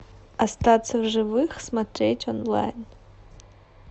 остаться в живых смотреть онлайн